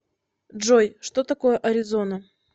джой что такое аризона